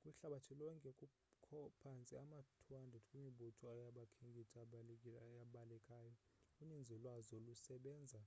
kwihlabathi lonke kukho phantse ama-200 kwimibutho yabakhenkethi ebalekayo uninzi lwazo lusebenza